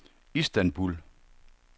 Istanbul